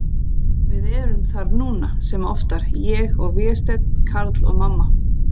Við erum þar núna, sem oftar, ég og Vésteinn, Karl og mamma.